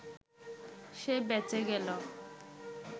সে বেঁচে গেল